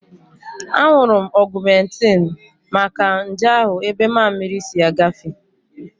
Aṅụrụ m Ọgumentin maka nje ahụ ebe mammiri si agafe